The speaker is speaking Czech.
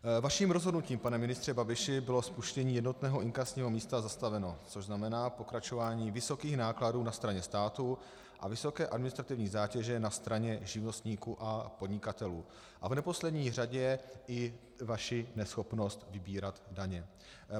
Vaším rozhodnutím, pane ministře Babiši, bylo spuštění jednotného inkasního místa zastaveno, což znamená pokračování vysokých nákladů na straně státu a vysoké administrativní zátěže na straně živnostníků a podnikatelů a v neposlední řadě i vaši neschopnost vybírat daně.